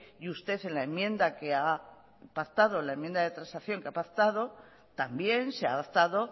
y usted en la enmienda de transacción que ha pactado también se adaptado